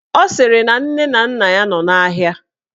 Ọ sịrị na nne na nna ya nọ n'ahịa